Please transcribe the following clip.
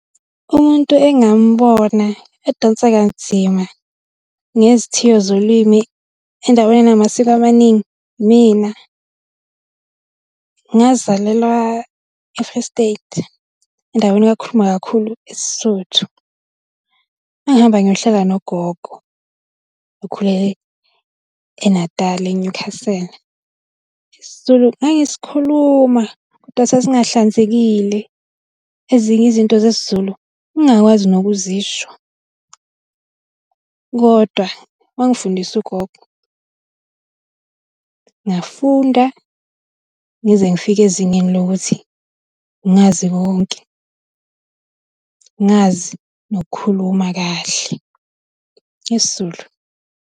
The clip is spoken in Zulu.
Umuntu engamubona edonsa kanzima ngezithiyo zolimi endaweni enamasiko amaningi, imina. Ngazalelwa e-Free State, endaweni la kukhulunywa kakhulu isiSuthu. Ngangihamba ngiyohlala nogogo okhulele eNatali eNyukhasela. IsiZulu ngangisikhuluma, kodwa sasingahlanzekile ezinye izinto zesiZulu ngingakwazi nokuzisho. Kodwa wangifundisa ugogo, ngafunda ngize ngifike ezingeni lokuthi ngazi konke, ngazi nokukhuluma kahle isiZulu.